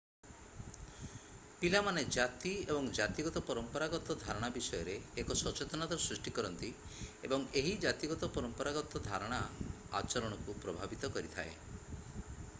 ପିଲାମାନେ ଜାତି ଏବଂ ଜାତିଗତ ପରମ୍ପରାଗତ ଧାରଣା ବିଷୟରେ ଏକ ସଚେତନତା ସୃଷ୍ଟି କରନ୍ତି ଏବଂ ଏହି ଜାତିଗତ ପରମ୍ପରାଗତ ଧାରଣା ଆଚରଣକୁ ପ୍ରଭାବିତ କରିଥାଏ